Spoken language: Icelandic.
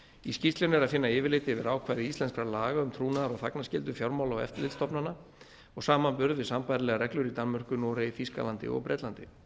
í skýrslunni er að finna yfirlit yfir ákvæði íslenskra laga um trúnaðar og þagnarskyldu fjármála og eftirlitsstofnana og samanburð við sambærilegar reglur í danmörku noregi þýskalandi og bretlandi